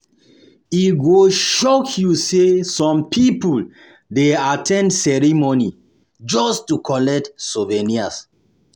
E go shock you say some people dey at ten d ceremony just to collect souvenir.